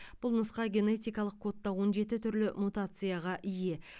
бұл нұсқа генетикалық кодта он жеті түрлі мутацияға ие